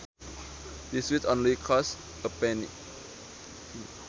This sweet only costs a penny